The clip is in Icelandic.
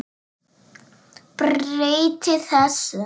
Breyti þessu.